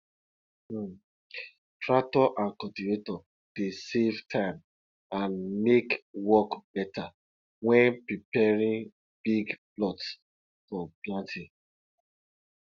um tractor and cultivator dey save time and make work better when preparing big plots for planting